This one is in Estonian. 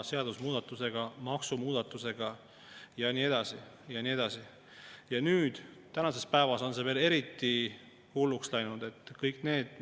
Seda enam, et mõned aastad tagasi oli osa praegusi koalitsioonipartnereid ise opositsioonitoolis, ja oh seda sapi pildumist siis tolleaegse valitsuse suunas, kes ligilähedaseltki ei käitunud sedasi, nagu siin täna on käitunud nii Riigikogu kui ka valitsus.